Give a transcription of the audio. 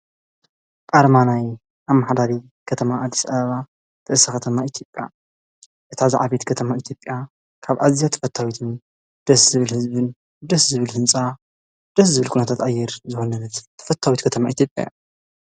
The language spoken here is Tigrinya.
ቃራማናይ ኣማኃዳሪ ኸተማ ኣልስ ኣባ ተእሳ ኸተማ ኢቲጴያ እታ ዝዓቤት ከተማ ኤቲብያ ካብ ኣዚያ ትፈታዊትን ደስ ዝብል ሕዝብን ደስ ዝብል ሕንጻ ደስ ዝብል ኩነታትኣየር ዝወነነት ተፈታዊት ከተማ ኢቲጴያ እያ።